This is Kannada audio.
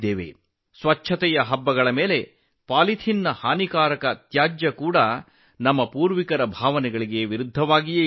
ಶುಚಿತ್ವ ಕಾಪಾಡಬೇಕಾದ ಹಬ್ಬ ಹರಿದಿನಗಳಲ್ಲಿ ಪಾಲಿಥಿನ್ನಂತಹ ಹಾನಿಕಾರಕ ಕಸ ನಮ್ಮ ಹಬ್ಬಗಳ ಆಶಯಕ್ಕೆ ವಿರುದ್ಧವಾಗಿದೆ